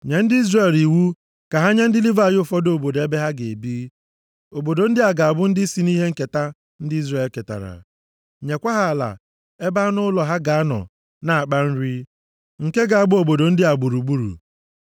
“Nye ndị Izrel iwu ka ha nye ndị Livayị ụfọdụ obodo ebe ha ga-ebi. Obodo ndị a ga-abụ ndị si nʼihe nketa ndị Izrel ketara. Nyekwa ha ala ebe anụ ụlọ ha ga-anọ na-akpa nri, nke ga-agba obodo ndị a gburugburu.